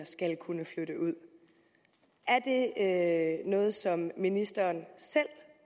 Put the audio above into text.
skal kunne flytte ud er det noget som ministeren selv